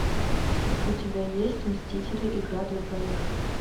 у тебя есть мстители игра для двоих